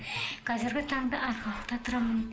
қазіргі таңда арқалықта тұрамын